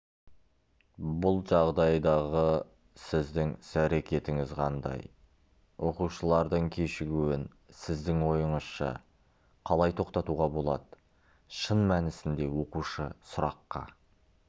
бұл жағдайдағы сіздің іс-әрекетіңіз қандай оқушылардың кешігуін сіздің ойыңызша қалай тоқтатуға болады шын мәнісінде оқушы сұраққа